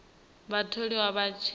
vhatholiwa vha tshi vha hone